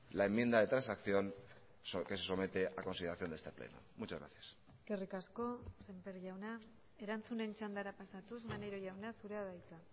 la enmienda de transacción que se somete a consideración de este pleno muchas gracias eskerrik asko sémper jauna erantzunen txandara pasatuz maneiro jauna zurea da hitza